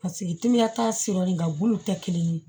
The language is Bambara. Paseke timiya t'a si yɔrɔ nin nka bulu tɛ kelen ye